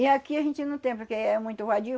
E aqui a gente não tem porque é muito vadio.